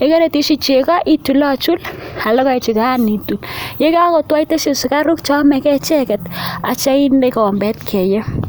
ye kariteshi cheko ichulachul ak logoechukan itui ye kakotwo iteshi sukaruk cheomegei icheket atya inde kikobet keyo.